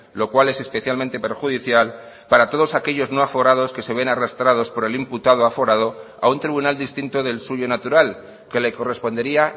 lo cual es especialmente perjudicial para todos aquellos no aforados que se ven arrastrados por el imputado aforado a un tribunal distinto del suyo natural que le correspondería